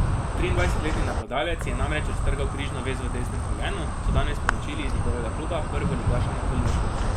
Triindvajsetletni napadalec si je namreč raztrgal križno vez v desnem kolenu, so danes sporočili iz njegovega kluba, prvoligaša Napolija.